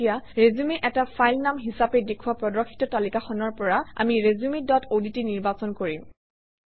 এতিয়া ৰিচিউম এটা ফাইল নাম হিচাপে দেখুওৱা প্ৰদৰ্শিত তালিকাখনৰ পৰা আমি ৰিচিউম ডট অডট নিৰ্বাচন কৰিম